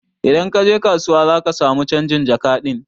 Idan kaje kasuwa zaka samu canjin jaka ɗin